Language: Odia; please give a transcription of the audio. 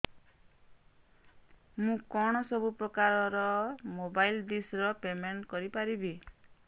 ମୁ କଣ ସବୁ ପ୍ରକାର ର ମୋବାଇଲ୍ ଡିସ୍ ର ପେମେଣ୍ଟ କରି ପାରିବି